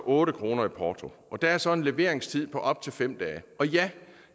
otte kroner i porto og der er så en leveringstid på op til fem dage ja